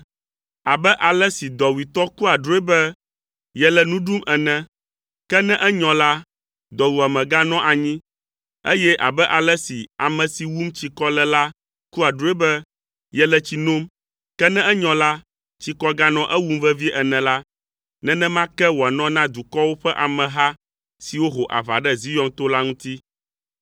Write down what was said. Abe ale si dɔwuitɔ kua drɔ̃e be yele nu ɖum ene, ke ne enyɔ la, dɔwuame ganɔa anyi, eye abe ale si ame si wum tsikɔ le la kua drɔ̃e be yele tsi nom, ke ne enyɔ la, tsikɔ ganɔa ewum vevie ene la, nenema ke wòanɔ na dukɔwo ƒe ameha siwo ho aʋa ɖe Zion to la ŋuti.